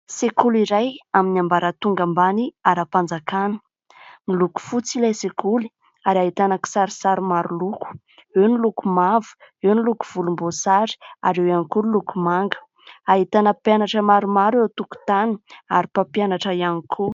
Sekoly iray amin'ny ambara tonga ambany ara-mpanjakana miloko fotsy ilay sekoly ary hahitana kisarsary maro loko : eo ny loko mavo eo ny lokovolom-boasary ary eo ihany koa ny loko manga ahitana mpianatra maromaro eo toko-tany ary mpampianatra ihany koa.